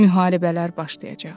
Müharibələr başlayacaq.